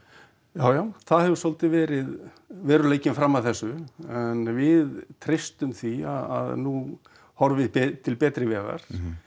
já já það hefur svolítið verið veruleikinn fram að þessu en við treystum því að nú horfi til betri vegar